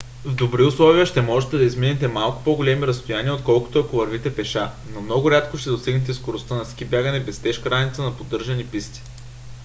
в добри условия ще можете да изминете малко по-големи разстояния отколкото ако вървите пеша – но много рядко ще достигнете скоростта на ски бягане без тежка раница на поддържани писти